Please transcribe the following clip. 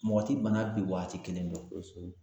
Mɔgɔ ti bana bi waati kelen dɔn kosɛbɛ